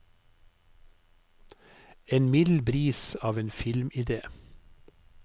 En mild bris av en filmidé.